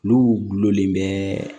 N'u gulonlen bɛ